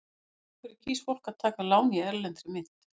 En af hverju kýs fólk að taka lán í erlendri mynt?